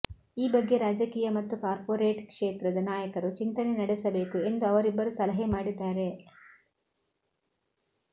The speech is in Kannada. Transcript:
ಈ ಬಗ್ಗೆ ರಾಜಕೀಯ ಮತ್ತು ಕಾರ್ಪೊರೇಟ್ ಕ್ಷೇತ್ರದ ನಾಯಕರು ಚಿಂತನೆ ನಡೆಸಬೇಕು ಎಂದು ಅವರಿಬ್ಬರು ಸಲಹೆ ಮಾಡಿದ್ದಾರೆ